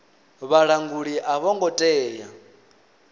vhalanguli a vho ngo tea